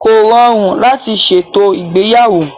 Kò rọrùn láti ṣètò ìgbéyàwó.